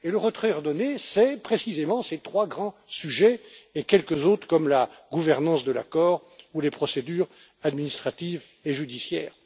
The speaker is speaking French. Le retrait ordonné, c'est précisément ces trois grands sujets et quelques autres, comme la gouvernance de l'accord ou les procédures administratives et judiciaires.